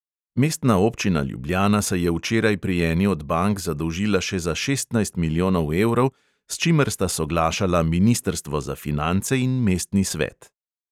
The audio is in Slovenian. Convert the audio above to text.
Mestna občina ljubljana se je včeraj pri eni od bank zadolžila še za šestnajst milijonov evrov, s čimer sta soglašala ministrstvo za finance in mestni svet.